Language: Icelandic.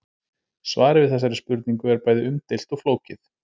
Svarið við þessari spurningu er bæði umdeilt og flókið.